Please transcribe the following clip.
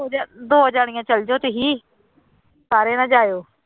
ਜਾ ਦੋ ਜਾਣੀਆਂ ਚਲੇ ਜਾਓ ਤੁਸੀਂ ਸਾਰੇ ਨਾ ਜਾਇਓ।